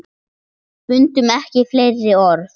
Fundum ekki fleiri orð.